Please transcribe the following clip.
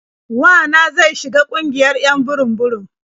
Wa na zai shiga ƙungiyar 'yan burum-burum.